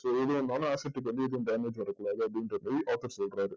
so இது என்னன்னா asset க்கு வந்து எதுவும் damage வரக்கூடாது அப்படின்ற மாதிரி author சொல்றாரு